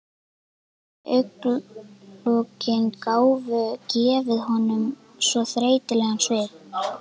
Slútandi augnalokin gátu gefið honum svo þreytulegan svip.